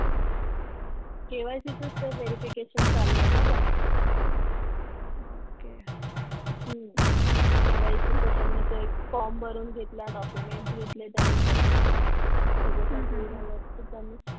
KYC चच तर verification चालू आहे ना त्यांचं त्यांनी तो एक form भरून घेतला documents घेतले त्यांनी त्याचे त्याच्यासाठी मला त्यांनी